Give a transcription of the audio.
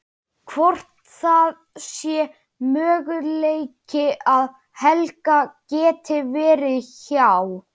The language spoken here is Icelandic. Hvort það sé möguleiki að Helgi geti verið hjá.